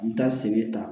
N mi taa segi ta